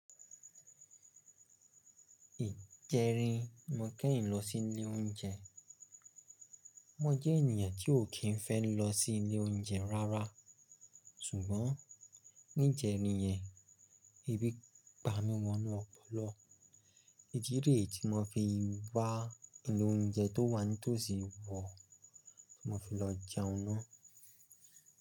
Ìjẹrin ni mo kẹ́yìn lọ sí ilé oúnjẹ. Mo jẹ́ ènìyàn tí ò kí ń fẹ́ lọ sí ilé oúnjẹ rárá, ṣùgbọ́n níjẹrin yẹn, ebi pami wọnú ọpọlọ. Idi re tí mo fi wá ilé oúnjẹ tó wà ní tòsí wọ̀ ti mo fi lọ jẹun ná.